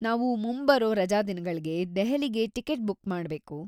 ನಾವು ಮುಂಬರೋ ರಜಾದಿನಗಳ್ಗೆ ದೆಹಲಿಗೆ ಟಿಕೆಟ್‌ ಬುಕ್‌ ಮಾಡ್ಬೇಕು.